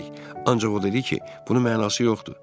Ancaq o dedi ki, bunun mənası yoxdur.